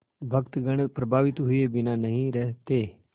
भक्तगण प्रभावित हुए बिना नहीं रहते